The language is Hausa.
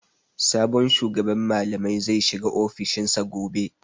Sabon shugaban malamai zai shiga ofishin sa gobe.